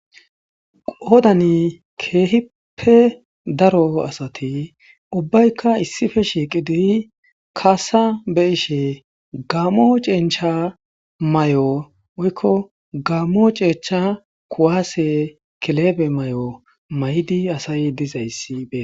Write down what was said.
odani keehippe daro asati ubbaykka issife shiiqidi kaasa be ishe gaamo cencha may7o woykko gaammo ceechcha kuwaase kelebe may7o may7di asay dizayssi be